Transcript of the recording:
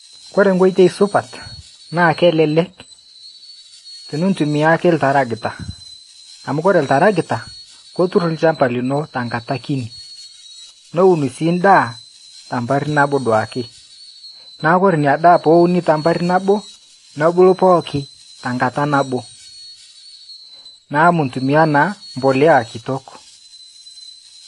koreee nkoitoi supat naa kelelek eni ntumia oltakirakita amuu ooore iltarakita ketuur ilchamba lino tenkata kini newun sii daa tenkata naabo duake naa koree inadaaa tenewuuni tena mbaar naboo nebuluu pooki tenkata nabboo naa mintimia naaa mbolea kitok.